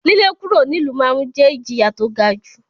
lílé kúrò nílùú ma ń jẹ́ ìjìyà tó ga jù.